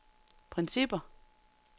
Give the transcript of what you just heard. principper